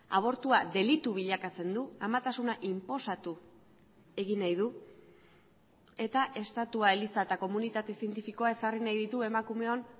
abortua delitu bilakatzen du amatasuna inposatu egin nahi du eta estatua eliza eta komunitate zientifikoa ezarri nahi ditu emakumeon